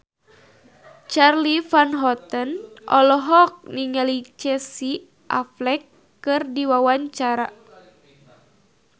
Charly Van Houten olohok ningali Casey Affleck keur diwawancara